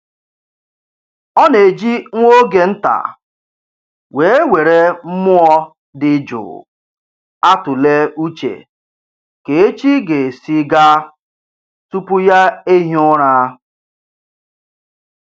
Ọ na-eji nwa oge nta wee were mmụọ dị jụụ atụle uche ka echi ga-esi gaa tupu ya ehie ụra